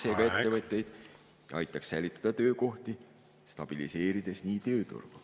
… toetaks ettevõtjaid, aitaks säilitada töökohti, stabiliseerides nii tööturgu.